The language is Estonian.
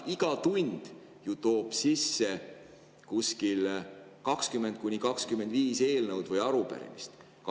Iga tund ju toob sisse 20–25 eelnõu või arupärimist.